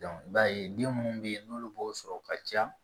i b'a ye den munnu be yen n'olu b'o sɔrɔ ka caya